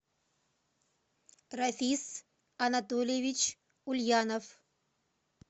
рафис анатольевич ульянов